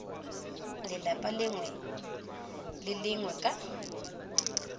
lelapa lengwe le lengwe ka